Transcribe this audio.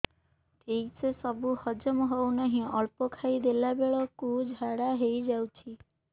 ଠିକସେ ସବୁ ହଜମ ହଉନାହିଁ ଅଳ୍ପ ଖାଇ ଦେଲା ବେଳ କୁ ଝାଡା ହେଇଯାଉଛି